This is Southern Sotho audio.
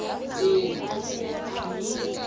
be a se a e